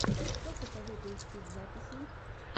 что посоветуешь из записей